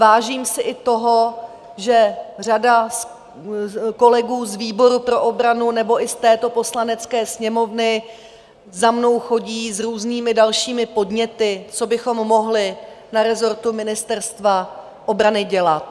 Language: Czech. Vážím si i toho, že řada kolegů z výboru pro obranu nebo i z této Poslanecké sněmovny za mnou chodí s různými dalšími podněty, co bychom mohli na rezortu Ministerstva obrany dělat.